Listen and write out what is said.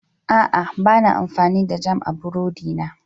A'a, ba na amfani da jam don burodi na.